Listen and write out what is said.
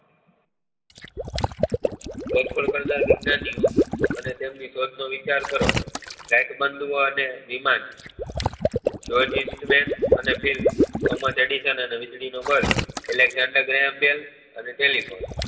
શોધખોળ કરતા વિજ્ઞાની ઓ અને તેમની શોધ કરવા નો વિચાર કરો અને વિમાન થોમસ એડીસન અને વીજળી નો bulb અને telephone